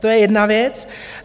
To je jedna věc.